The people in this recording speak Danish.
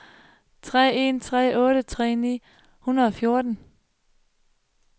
tre en tre otte tredive ni hundrede og fjorten